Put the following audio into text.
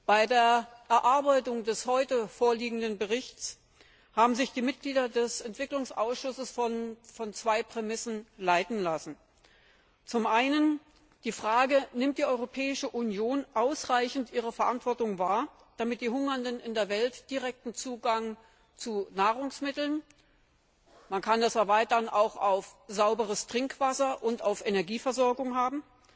Bei der Erarbeitung des heute vorliegenden Berichts haben sich die Mitglieder des Entwicklungsausschusses von zwei Prämissen leiten lassen Zum einen von der Frage, ob die Europäische Union ausreichend ihre Verantwortung wahrnimmt, damit die Hungernden in der Welt direkten Zugang zu Nahrungsmitteln man kann das auch erweitern auf sauberes Trinkwasser und Energieversorgung haben.